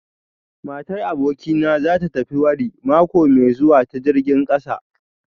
Matar abokina za ta tafi wari mako mai zuwa ta jirgin kasa